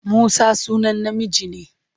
Musa sunan namiji ne.